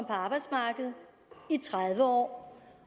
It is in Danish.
arbejdsmarkedet i tredive år